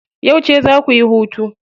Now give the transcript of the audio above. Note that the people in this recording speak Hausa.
Yauce za kuyi hutu?